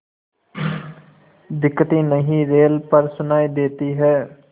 दिखती नहीं रेल पर सुनाई देती है